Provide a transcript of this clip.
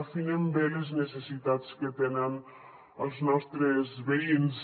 afinem bé les necessitats que tenen els nostres veïns